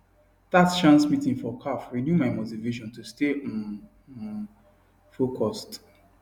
that chance meeting for caf renew my motivation to stay um um focused